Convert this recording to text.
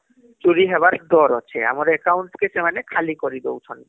ଚୁରି ହବାର ଡର ଅଃଛେଁ ବୋଇଲେ ଆମର account କୁ ସେମାନେ ଖାଲି କରି ଦଉଛନ